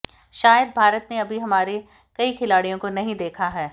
शायद भारत ने अभी हमारे कई खिलाडिय़ों को नहीं देखा है